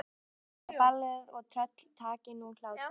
Þá fyrst byrjaði ballið og tröll taki nú hlátur.